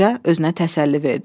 Qoca özünə təsəlli verdi.